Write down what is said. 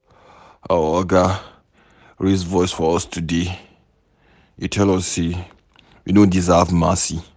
Our Oga raise voice for us today. He tell us say we no deserve mercy.